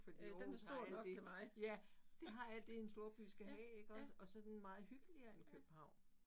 Fordi Aarhus har alt det ja det har alt det en storby skal have iggås og så den meget hyggeligere end København